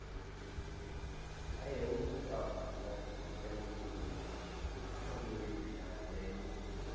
ખાલી એવું જ નહિ આવતું અંદર teacher ની field ગણી બધી field આવે છે, Banking ની છે,